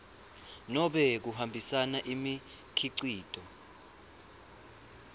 nobe kuhambisa imikhicito